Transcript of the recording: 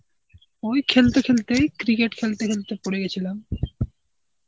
ওই খেলতে খেলতেই cricket খেলতে খেলতে পরেগেছিলাম.